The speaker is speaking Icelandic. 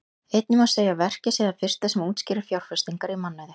Einnig má segja að verkið sé það fyrsta sem útskýrir fjárfestingar í mannauði.